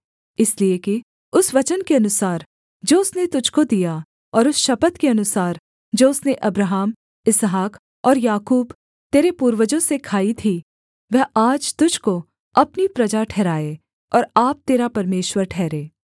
इसलिए कि उस वचन के अनुसार जो उसने तुझको दिया और उस शपथ के अनुसार जो उसने अब्राहम इसहाक और याकूब तेरे पूर्वजों से खाई थी वह आज तुझको अपनी प्रजा ठहराए और आप तेरा परमेश्वर ठहरे